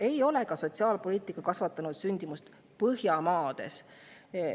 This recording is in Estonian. Ei ole ka Põhjamaades sotsiaalpoliitika sündimust kasvatanud.